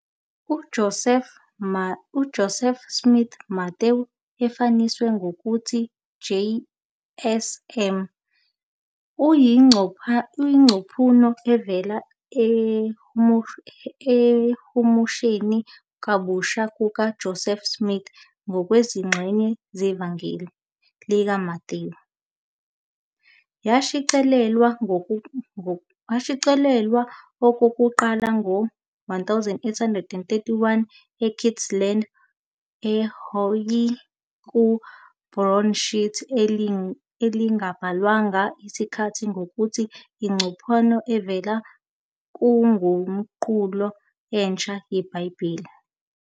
UJoseph Smith-Matthew, efushaniswe ngokuthi JS-M, uyingcaphuno evela " ekuhumusheni kabusha " kukaJoseph Smith kwezingxenye zeVangeli likaMathewu. Yashicilelwa okokuqala ngo-1831 eKirtland, e-Ohio, ku- broadsheet elingabhalwanga isikhathi ngokuthi "Ingcaphuno Evela Kunguqulo Entsha YeBhayibheli".